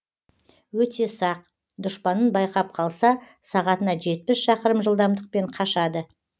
өте сақ дұшпанын байқап қалса сағатына жетпіс шақырым жылдамдықпен қашады